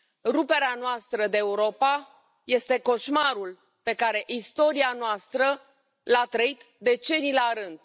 Ruperea noastră de Europa este coșmarul pe care istoria noastră l a trăit decenii la rând.